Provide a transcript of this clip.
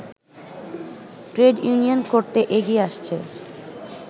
trade union করতে এগিয়ে আসছে